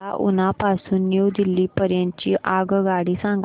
मला उना पासून न्यू दिल्ली पर्यंत ची आगगाडी सांगा